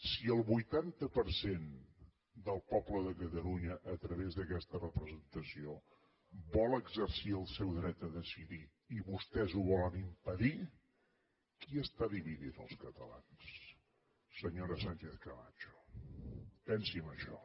si el vuitanta per cent del poble de catalunya a través d’aquesta representació vol exercir el seu dret a decidir i vostès ho volen impedir qui està dividint els catalans senyora sánchez camacho pensi en això